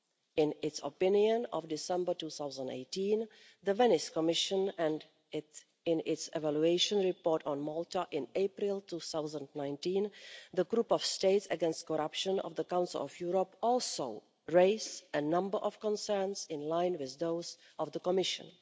In its opinion of December 2018, the Venice Commission and, in its evaluation report on Malta in April 2019, the Group of States Against Corruption of the Council of Europe also raised a number of concerns in line with those of the Commission.